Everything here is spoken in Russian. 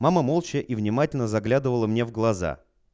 мама молча и внимательно заглядывала мне в глаза